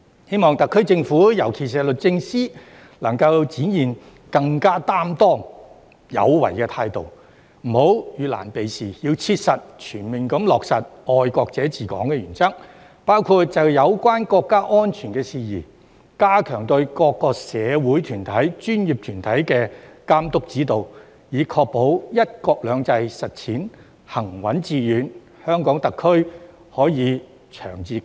希望特區政府——尤其是律政司——能夠展現更擔當有為的態度，不要遇難避事，要切實全面地落實"愛國者治港"的原則，包括就有關國家安全事宜，加強對各個社會團體和專業團體的監督指導，以確保"一國兩制"實踐行穩致遠，香港特區可以長治久安。